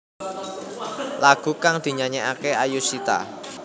Lagu kang dinyanyekake Ayushita